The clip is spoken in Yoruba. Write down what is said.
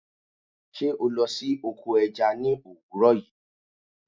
Sé o lo sí oko eja ni òwúrò yi?